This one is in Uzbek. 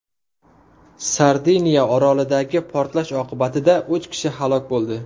Sardiniya orolidagi portlash oqibatida uch kishi halok bo‘ldi.